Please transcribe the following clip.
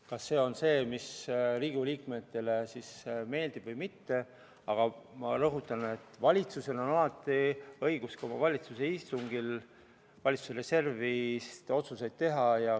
Kas see Riigikogu liikmetele meeldib või mitte, aga ma rõhutan, et valitsusel on alati õigus ka oma istungil valitsuse reservist raha eraldamise otsuseid teha.